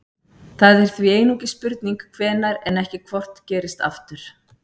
Það er því einungis spurning hvenær en ekki hvort gerist aftur.